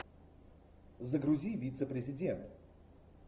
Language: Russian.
загрузи вице президент